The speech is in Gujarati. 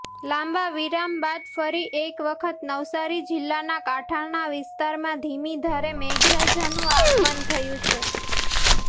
લાંબા વિરામ બાદ ફરી એક વખત નવસારી જીલ્લાના કાંઠાના વિસ્તારમાં ધીમીધારે મેઘરાજાનું આગમન થયુ છે